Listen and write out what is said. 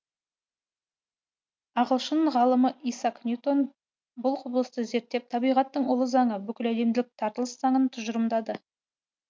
ағылшын ғалымы исаак ньютон бұл кұбылысты зерттеп табиғаттың ұлы заңы бүкіләлемдік тартылыс заңын тұжырымдады